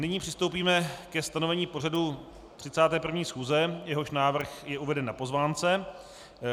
Nyní přistoupíme ke stanovení pořadu 31. schůze, jehož návrh je uveden na pozvánce.